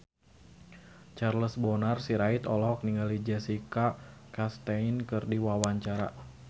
Charles Bonar Sirait olohok ningali Jessica Chastain keur diwawancara